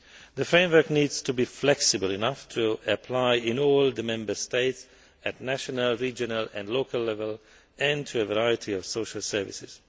That framework needs to be flexible enough to apply in all the Member States at national, regional and local level and to a variety of social services.